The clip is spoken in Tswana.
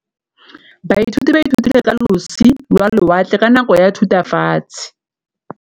Baithuti ba ithutile ka losi lwa lewatle ka nako ya Thutafatshe.